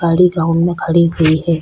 गाड़ी ग्राउंड में खड़ी हुई है।